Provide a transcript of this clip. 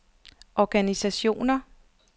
organisationer